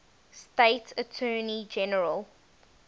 state attorney general